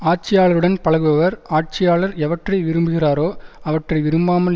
ஆட்சியாளருடன் பழகுபவர் ஆட்சியாளர் எவற்றை விரும்புகிறாரோ அவற்றை விரும்பாமல்